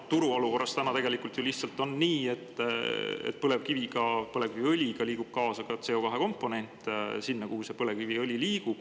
Turuolukorras ju lihtsalt on nii, et põlevkiviga, põlevkiviõliga liigub kaasa ka CO2 komponent.